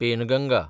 Penganga